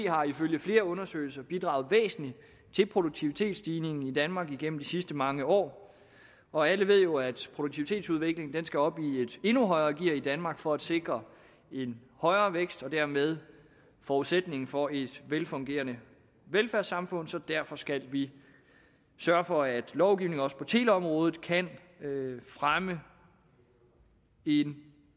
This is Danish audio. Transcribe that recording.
har ifølge flere undersøgelser bidraget væsentligt til produktivitetsstigningen i danmark igennem de sidste mange år og alle ved jo at produktivitetsudviklingen skal op i et endnu højere gear i danmark for at sikre en højere vækst og dermed forudsætningen for et velfungerende velfærdssamfund så derfor skal vi sørge for at lovgivningen også på teleområdet kan fremme en